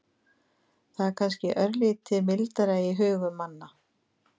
Það er kannski örlítið mildara í hugum manna.